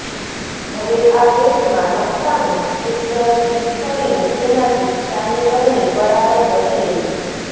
હવે આ પેસ્ટમાં નક્કામું ટુથ બ્રશ ડીપ કરીને તેનાથી ચાની ગરણી બરાબર ઘસી લેવી